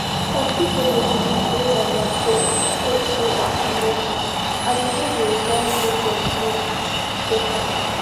some people they believe base on their faith faith say vaccine no good and e no dey won make dem gree take am